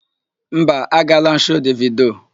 Mba, agaala m shoo Devido.